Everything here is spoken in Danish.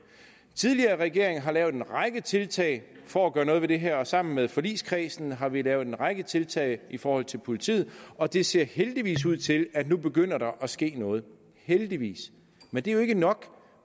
tidligere regeringer har lavet en række tiltag for at gøre noget ved det her og sammen med forligskredsen har vi lavet en række tiltag i forhold til politiet og det ser heldigvis ud til at der nu begynder at ske noget heldigvis men det er jo ikke nok